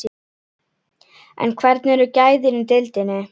En hvernig eru gæðin í deildinni?